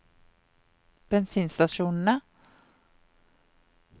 bensinstasjonene